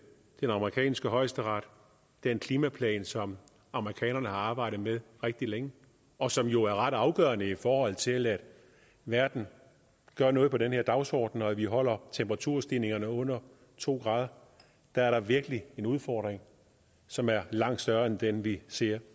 den amerikanske højesteret den klimaplan som amerikanerne har arbejdet med rigtig længe og som jo er ret afgørende i forhold til at verden gør noget ved den her dagsorden og at vi holder temperaturstigningen under to grader der er der virkelig en udfordring som er langt større end den vi ser